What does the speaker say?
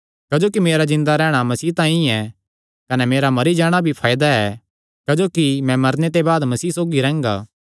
क्जोकि मेरा जिन्दा रैहणा मसीह तांई ऐ कने मेरा मरी जाणा भी फायदा ऐ क्जोकि मैं मरने ते बाद भी मसीह सौगी रैंह्गा